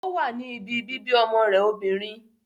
O wá ní ìbí bíbí ọmọ rẹ̀ obìnrin